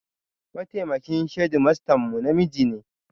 Mataimakin shedimastan mu namiji ne